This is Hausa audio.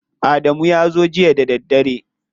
Adamu ya zo jiya da daddare.